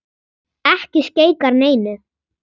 Ekki skeikar neinu.